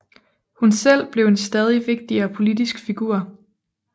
Hun selv blev en stadig vigtigere politisk figur